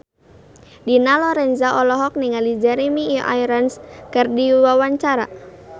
Dina Lorenza olohok ningali Jeremy Irons keur diwawancara